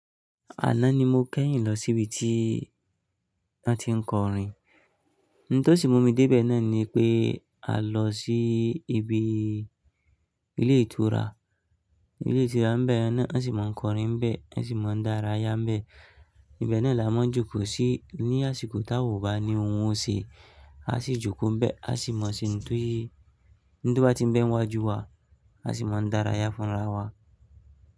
Àná ni mo kẹ́yìn lọ síbi tí wọ́n ti ń kọrin. N tó sì mú mi dé ibẹ̀ náà ni pé, a lọ sí ibi ilé ìtura. Ilé ìtura n bẹ́ẹ̀ yen náà, a sì máa ń kọrin bẹ́ẹ̀, a sì máa ń dárayá bẹ́ẹ̀. Ibẹ̀ náà là maa joko sí ní àsìkò táwa ò bá ní ohun ò ṣe, a sì joko n bẹ́ẹ̀, a sì mọ̀ sí ń ti, ń to bá ti ń bẹ́ ń wá ju wa, a sì máa ń dárayá fúnra wa.